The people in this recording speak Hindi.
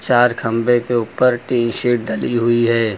चार खम्बे के ऊपर टीन शीट डली हुई है।